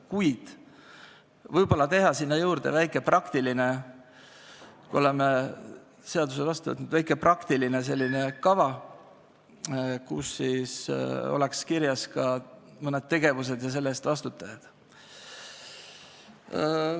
Kuid võib-olla võiks teha sinna juurde – pärast seda, kui oleme seaduse vastu võtnud – väikese praktilise kava, milles oleks kirjas ka mõned tegevused ja nende eest vastutajad.